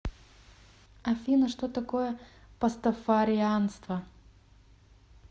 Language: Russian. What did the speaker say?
афина что такое пастафарианство